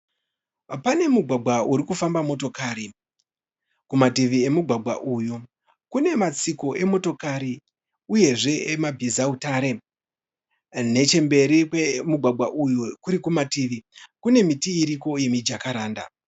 Pane mugwagwa uri kufamba motokari. Kumativi emugwagwa uyu kune matsiko emotokari uyezve emabhizautare. Nechemberi kwemugwagwa uyu kuri kumativi kune miti iriko yemijakaranda.